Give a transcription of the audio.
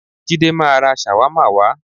Jídé máa ra ṣàwámà wá.